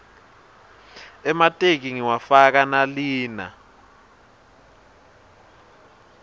emateki ngiwafaka nalina